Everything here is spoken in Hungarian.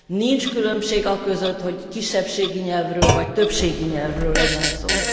Nincs különbség aközött, hogy kisebbségi nyelvről vagy többségi nyelvről legyen szó.